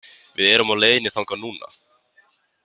Við erum á leiðinni þangað núna.